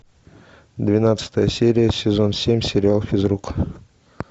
двенадцатая серия сезон семь сериал физрук